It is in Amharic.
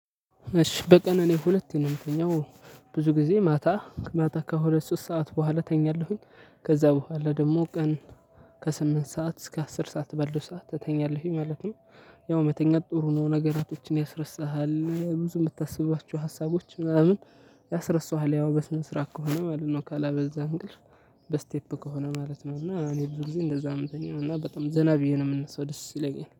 እሺ በቀን እኔ ሁለቴ ነው የምትኛው ብዙ ጊዜ ማታ ማታ ከሁለት ሶስት ሰዓት በኋላ ተኛለሁኝ ከዛ በኋላ ደግሞ ቀን ከስምንት ሰዓት እስከ አስር ሰዓት በለው ሰዓት ተኛለሁ ማለት ነው። ያው መተኛት ጥሩ ነው ነገሮችን ያስረሳሃል ብዙ የምታስባቸው ሀሳቦች ምናምን ያስረሳሃል። ያው በስነስርዓት ከሆነ ማለት ነው ካላበዛ እንቅልፍ በስቴፕ ከሆነ ማለት ነው። እና እኔ ብዙ ጊዜ እንደዛ ነው ሚተኛው እና በጣም ዘና ብዬ ነው የምነሳው ደስ ይለኛል